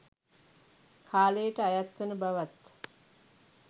කාලයට අයත්වන බවත්